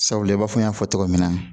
Sabula i b'a fɔ n y'a fɔ cogo min na